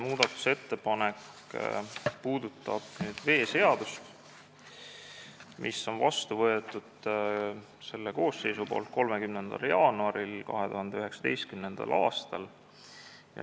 See puudutab veeseadust, mis võeti selles koosseisus vastu 30. jaanuaril 2019. aastal.